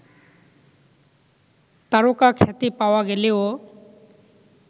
তারকাখ্যাতি পাওয়া গেলেও